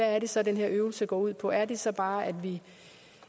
er det så den her øvelse går ud på er det så bare at vi